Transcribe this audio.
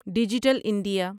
digital India